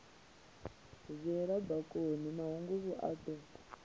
viela bakoni mahunguvhu a do